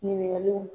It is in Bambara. Ɲininkaliw